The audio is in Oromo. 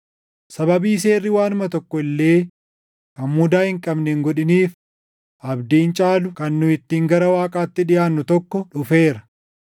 Sababii seerri waanuma tokko illee kan mudaa hin qabne hin godhiniif abdiin caalu kan nu ittiin gara Waaqaatti dhiʼaannu tokko dhufeera.